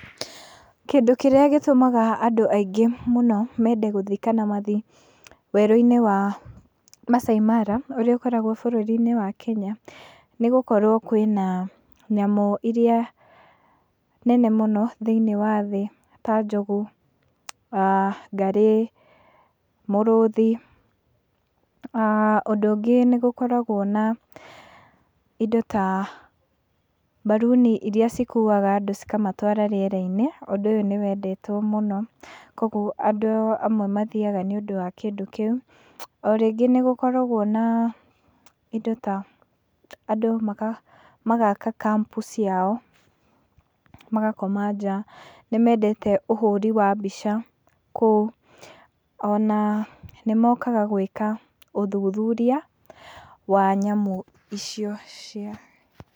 Kĩndũ kĩrĩa gĩtũmaga andũ ingĩ mathiĩ kana mende gũtjiĩ werũ-inĩ wa Maasai Mara ũrĩa ũkoragwo bũrũri-inĩ wa Kenya nĩ gũkorwo kwĩna nyamũ irĩa nene mũnot hĩiniĩ wa thĩ, ta njogu, ngarĩ, mĩrũthi. Ũndũ ũngĩ nĩgũkoragwo na indo ta baruni iria ikuwaga andũ ci kamatwara rĩera-inĩ, ũguo ũndũ ũyũ nĩ wendetwo mũno. kuoguo andũ amwe mathiaga nĩũndũ wa kĩndũ kĩu. O rĩngĩ nĩ gũkoragwo na na indo ta, andũ magaka kampu ciao, magakoma nja. Nĩmendete ũhũri wa mbica kũu, ona nĩmokaga gwĩka ũthũthũria wa nyamũ icio cia.